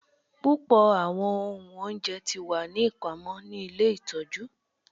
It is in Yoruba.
Pupọ awọn ohun ounjẹ ti wa ni ipamọ ni ile itọju